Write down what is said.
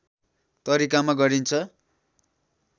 तरिकामा गरिन्छ